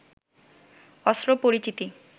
অস্ত্র পরিচিতি